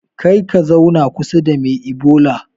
Karka zauna kusa da me ibola